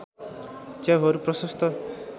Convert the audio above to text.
च्याउहरू प्रशस्त